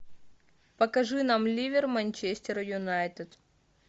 покажи нам ливер манчестер юнайтед